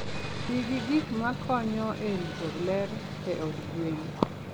Ti gi gik ma konyo e rito ler e od gwen.